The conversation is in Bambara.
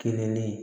Kelen ne